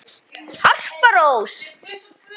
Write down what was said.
Harpa Rós.